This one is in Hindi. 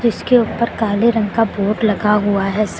उसके ऊपर काले रंग का बोर्ड लगा हुआ है सा--